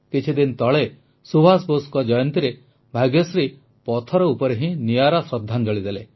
କିଛିଦିନ ତଳେ ସୁଭାଷ ବୋଷଙ୍କ ଜୟନ୍ତୀରେ ଭାଗ୍ୟଶ୍ରୀ ପଥର ଉପରେ ହିଁ ନିଆରା ଶ୍ରଦ୍ଧାଞ୍ଜଳି ଦେଲେ